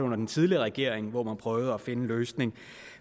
under den tidligere regering hvor man prøvede at finde en løsning